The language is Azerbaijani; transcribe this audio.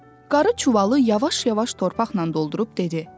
Qarı çuvalı yavaş-yavaş torpaqla doldurub dedi: